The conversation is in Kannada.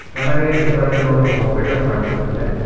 ನನಗೆ ಈ ಚಿತ್ರದಲ್ಲಿ ಒಂದು ಹಾಸ್ಪಿಟಲ್ ಕಾಣಿಸುತ್ತಿದೆ.